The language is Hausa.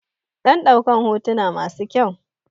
Dan ɗaukan hotuna masu kyau